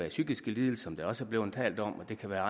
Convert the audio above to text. af psykiske lidelser som der også er blevet talt om og det kan være